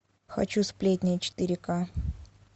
хочу сплетни четыре ка